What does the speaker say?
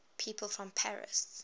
people from paris